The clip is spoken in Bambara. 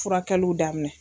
Furakɛliw daminɛ.